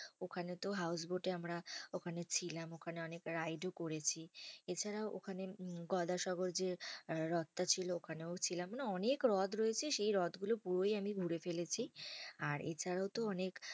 ওখানে তো houseboat এ আমরা ওখানে ছিলাম। ওখানে অনেক ride ও করেছি। এছাড়াও ওখানে গোদা সাগর যে হ্রদটা ছিল ওখানেও ছিলাম। মানে অনেক হ্রদ রয়েছে, সেই হ্রদগুলো পুরোই আমি ঘুরে ফেলেছি। আর এছাড়াও তো অনেক